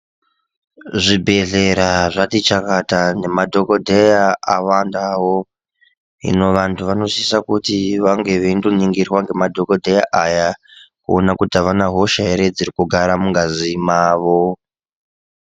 Zvibhedhlera zvati chakata, nemadhokodheya awandawo, hino vantu vanosisa kuti vange veyindoningirwa ngema dhokodheya aya, kuona kuti avana hosha ere dziri kugara mungazi mavo.